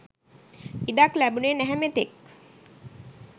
ඉඩක් ලැබුණේ නැහ මෙතෙක්